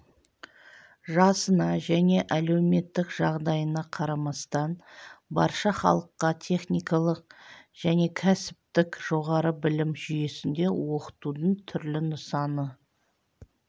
жасына және әлеуметтік жағдайына қарамастан барша халыққа техникалық және кәсіптік жоғары білім жүйесінде оқытудың түрлі нысаны